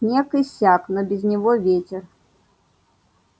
снег иссяк но без него ветер